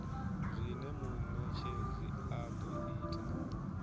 zwine munetshedzi a do ita